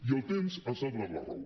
i el temps ens ha donat la raó